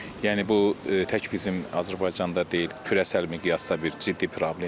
Yəni bu tək bizim Azərbaycanda deyil, kürəsəl miqyasda bir ciddi problemdir.